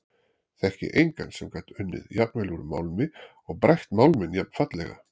Þekki engan sem gat unnið jafnvel úr málmi og brætt málminn jafnfallega.